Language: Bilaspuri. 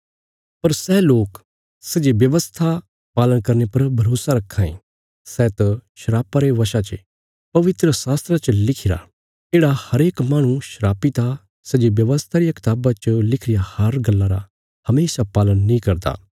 पर सै लोक सै जे व्यवस्था पालन करने पर भरोसा रक्खां ये सै त शरापा रे बशा चे पवित्रशास्त्रा च लिखिरा येढ़ा हरेक माहणु शापित आ सै जे व्यवस्था रिया कताबा च लिखी रिया हर गल्ला रा हमेशा पालन नीं करदा